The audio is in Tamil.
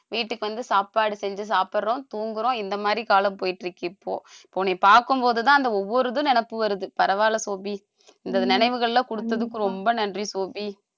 வீட்டுக்கு வந்து சாப்பாடு செஞ்சு சாப்பிடுறோம் தூங்குறோம் இந்த மாதிரி காலம் போயிட்டு இருக்கு இப்போ உன்னை நீ பார்க்கும் போதுதான் அந்த ஒவ்வொரு இதும் நினைப்பு வருது பரவாயில்லை சோபி இந்த நினைவுகள்லாம் கொடுத்ததுக்கு ரொம்ப நன்றி சோபி